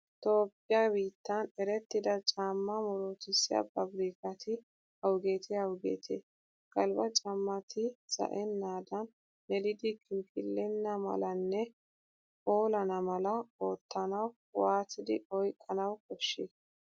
Toophphiyaa biittan erettida caammaa murutissiyaa paabirkkati awugeetee awugeetee? Galbbaa caammati za'ennaadaan, melidi kinkkillenna malanne phoolana mala oottanawu waatidi oyqqanawu koshshii?